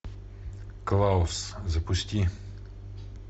клаус запусти